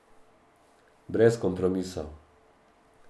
Brez kompromisov.